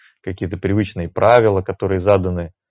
какие-то привычные правила которые заданы